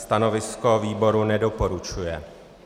Stanovisko výboru - nedoporučuje.